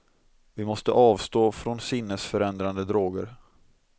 Vi måste avstå från sinnesförändrande droger.